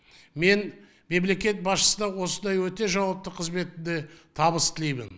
мен мемлекет басшысының осындай өте жауапты қызметінде табыс тілеймін